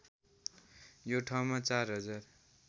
यो ठाउँमा ४ हजार